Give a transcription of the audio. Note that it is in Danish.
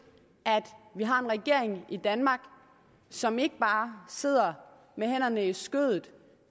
at vi har en regering i danmark som ikke bare sidder med hænderne i skødet